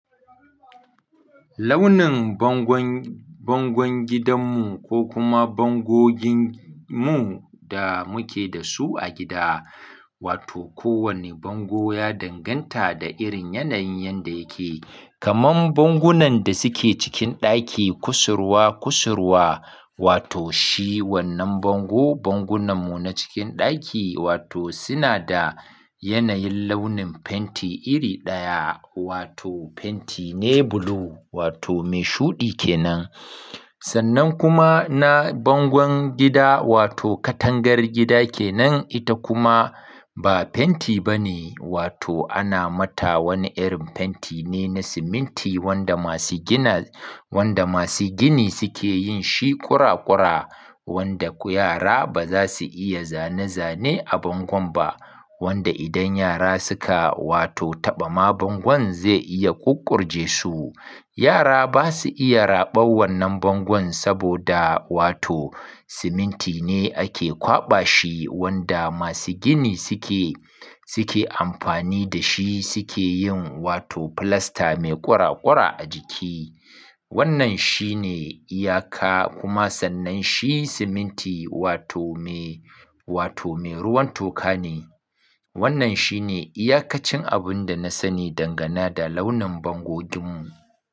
Launin bangon, bangon gidanmu ko kuma bango ginmu da muke da su a gida, wato kowane bango ya danganta da irin yanayin yadda yake. Kaman bangunan da suke cikin ɗaki, kusurwa kusurwa, wato shi wannan bango, bangunanmu na cikin ɗaki wato suna da yanayin launin fenti iri ɗaya wato fenti ne blue wato mai shuɗi ke nan. Sannan kuma na bangon gida wato katangar gida ke nan ita kuma ba fenti bane wato ana mata wani irin fenti ne na siminti wanda masu gina, wanda masu gini suke yin shi ƙura ƙura wanda ku yara ba za su iya zane zane a bangon ba. Wanda idan yara suka wato taɓa ma bangon zai iya ƙuƙƙurje su. Yara ba su iya raɓan wannan bangon saboda wato siminti ne ake kwaɓa shi wanda masu gini suke, suke amfani da shi suke yin wato filasta mai ƙura ƙura a jiki. Wannan shi ne iyaka kuma sannan shi siminti wato me, wato me ruwan toka ne. Wannan shi ne iyakacin abin da na sani dangane da launin bangoginmu.